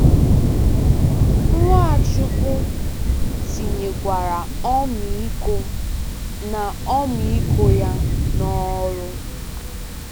Nwachukwu tinyekwara ọmịiko na ọmịiko ya n'ọrụ.